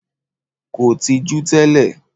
Kò tijú tẹ́lẹ̀